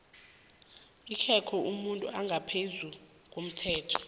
akekho umuntu ongaphezulu komthetho